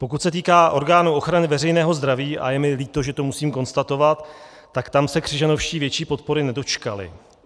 Pokud se týká orgánu ochrany veřejného zdraví, a je mi líto, že to musím konstatovat, tak tam se Křižanovští větší podpory nedočkali.